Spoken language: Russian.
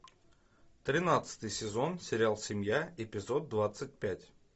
тринадцатый сезон сериал семья эпизод двадцать пять